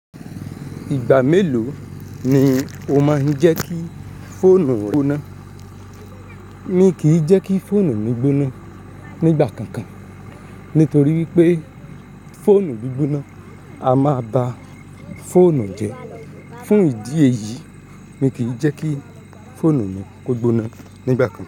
Ìgbà mélòó ni o máa ń jẹ́ kí fóònù rẹ gbóná? Mí kì í jẹ́ kí fóònù mi gbóná nígbà kankan. Nítorí pé fóònù gbí gbóná, a máa ba fóònù jẹ́. Fún ìdí èyí, mí kì í jẹ́ kí fóònù mi kó gbóná nígbà kankan.